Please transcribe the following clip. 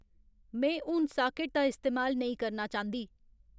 में हून साकेट दा इस्तेमाल नेईं करना चांह्दी